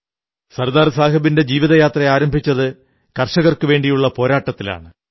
സർദാർ സാഹബിന്റെ ജീവിതയാത്ര ആരംഭിച്ചത് കർഷകർക്കുവേണ്ടിയുള്ള പോരാട്ടത്തിലാണ്